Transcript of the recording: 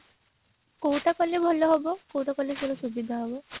କୋଉଟା କଲେ ଭଲ ହେବ କୋଉଟା କଲେ ଭଲ ସୁବିଧା ହେବ